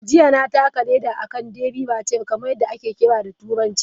Jiya, na taka leda a kan " derby racer kamar yadda ake kira da Turanci ".